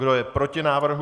Kdo je proti návrhu?